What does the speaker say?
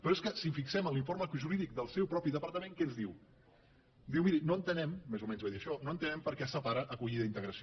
però és que si ens fixem en l’informe jurídic del seu propi departament què ens diu diu miri no entenem més o menys ve a dir això no entenem per què es separa acollida i integració